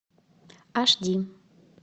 аш ди